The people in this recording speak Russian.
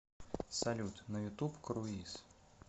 салют на ютуб круиз